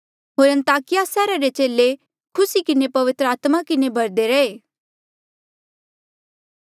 होर अन्ताकिया सैहरा रे चेले खुसी किन्हें पवित्र आत्मा किन्हें भहरदे रैहे